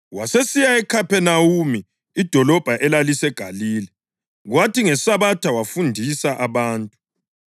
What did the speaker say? Wasesiya eKhaphenawume, idolobho elaliseGalile, kwathi ngeSabatha wafundisa abantu.